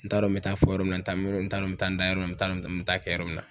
N t'a dɔn n bɛ taa fɔ yɔrɔ min na, n t'a dɔn n bɛ taa n da yɔrɔ min, n taa n bɛ n bɛ taa kɛ yɔrɔ min na.